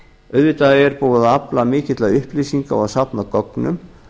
auðvitað er búið að afla mikilla upplýsinga og safna gögnum